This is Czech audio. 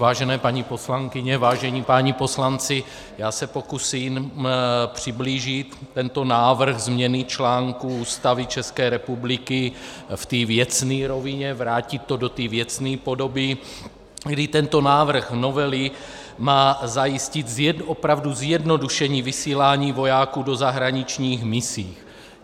Vážené paní poslankyně, vážení páni poslanci, já se pokusím přiblížit tento návrh změny článku Ústavy České republiky v té věcné rovině, vrátit to do té věcné podoby, kdy tento návrh novely má zajistit opravdu zjednodušení vysílání vojáků do zahraničních misí.